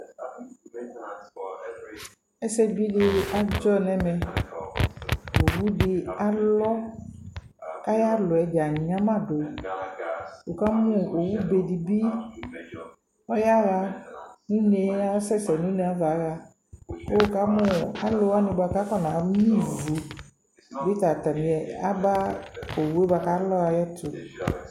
ɛsɛ bi di adzɔ nʋ ɛmɛ ɔwʋ di alɔ kʋ aya lɔɛ dza anyama dʋ, wʋkamʋ ɔwʋ bɛ dibi, ɔyaɛ ʋnɛ asɛsɛ nʋ ʋnɛ yaɛ kʋ wʋkamʋ alʋ wani kʋ akɔna mɛ ivʋ atani aba ɔwʋɛ bʋakʋ alɔɛ ayɛtʋ